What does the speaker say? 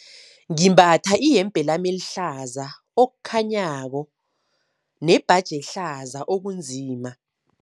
Ngimbatha iyembe lami elihlaza okukhanyako nembaji ehlaza okunzima.